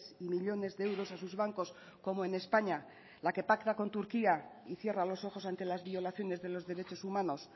y millónes de euros a sus bancos como en españa la que pacta con turquía y cierra los ojos ante las violaciones de los derechos humanos